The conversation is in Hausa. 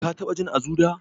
Ka taɓa jin Azu da?